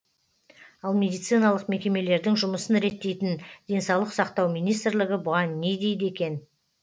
ал медициналық мекемелердің жұмысын реттейтін денсаулық сақтау министрлігі бұған не дейді екен